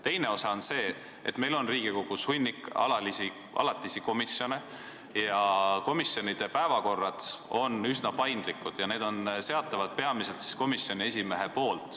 Teine osa on see, et meil on Riigikogus hunnik alatisi komisjone ja komisjonide päevakorrad on üsna paindlikud, neid seab peamiselt komisjoni esimees.